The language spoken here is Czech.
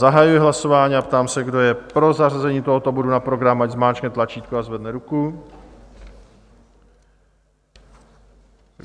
Zahajuji hlasování a ptám se, kdo je pro zařazení tohoto bodu na program, ať zmáčkne tlačítko a zvedne ruku.